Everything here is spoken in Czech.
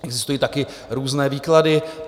Existují také různé výklady.